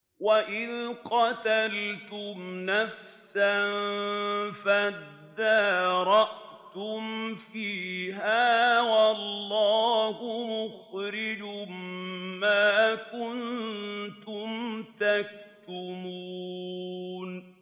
وَإِذْ قَتَلْتُمْ نَفْسًا فَادَّارَأْتُمْ فِيهَا ۖ وَاللَّهُ مُخْرِجٌ مَّا كُنتُمْ تَكْتُمُونَ